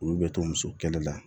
Olu bɛ to muso kɛlɛ la